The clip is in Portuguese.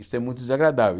Isso é muito desagradável.